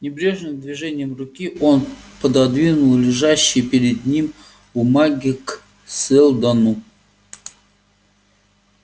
небрежным движением руки он пододвинул лежащие перед ним бумаги к сэлдону